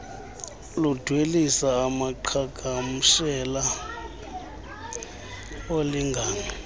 ludwelisa amaqhagamshela olingano